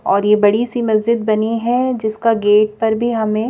और ये बड़ी सी मस्जिद बनी है जिसका गेट पर भी हमें--